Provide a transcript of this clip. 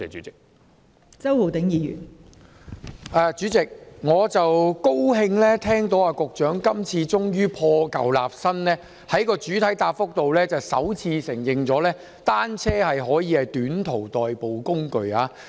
代理主席，我高興聽到局長今次終於破舊立新，在主體答覆中首次承認單車可以作為短途代步工具。